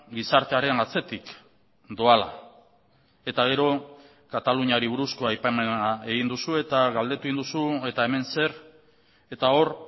gizartearen atzetik doala eta gero kataluniari buruzko aipamena egin duzu eta galdetu egin duzu eta hemen zer eta hor